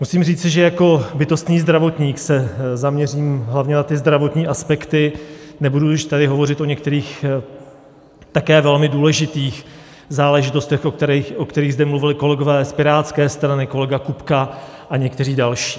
Musím říci, že jako bytostný zdravotník se zaměřím hlavně na ty zdravotní aspekty, nebudu již tady hovořit o některých také velmi důležitých záležitostech, o kterých zde mluvili kolegové z Pirátské strany, kolega Kupka a někteří další.